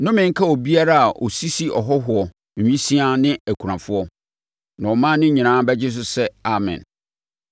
“Nnome nka obiara a ɔsisi ahɔhoɔ, nwisiaa ne akunafoɔ.” Na ɔman no nyinaa bɛgye so sɛ, “Amen!”